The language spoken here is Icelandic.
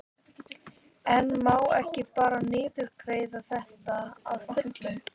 En má ekki bara niðurgreiða þetta að fullu?